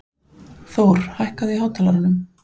Thor, lækkaðu í hátalaranum.